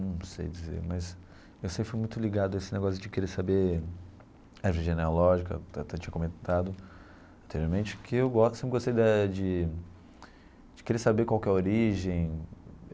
Não sei dizer, mas eu sempre fui muito ligado a esse negócio de querer saber, árvore genealógica, até tinha comentado anteriormente, que eu gosto sempre gostei da de de querer saber qual que é a origem.